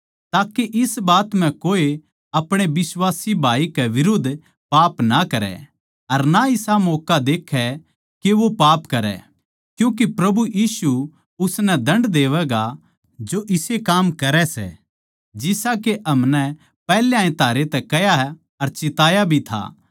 ताके इस बात म्ह कोए अपणे बिश्वासी भाई के बिरुद्ध पाप ना करै अर ना इसा मौक्का देक्खै के वो पाप करै क्यूँके प्रभु यीशु उसनै दण्ड देवैगा जो इसे काम करै सै जिसा के हमनै पैहल्याए थारै तै कह्या अर चिताया भी था